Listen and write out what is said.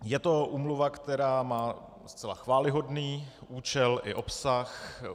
Je to úmluva, která má zcela chvályhodný účel i obsah.